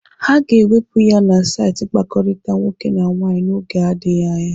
A ga-ewepụ ya na saịtị mkpakọrịta nwoke na nwaanyị n'oge adịghị anya.